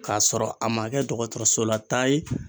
K'a sɔrɔ a ma kɛ dɔkɔtɔrɔsola taa ye.